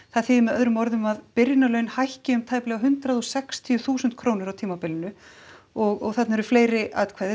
það þýðir með öðrum orðum að byrjunarlaun hækki um hundrað og sextíu þúsund krónur á tímabilinu og þarna eru fleiri ákvæði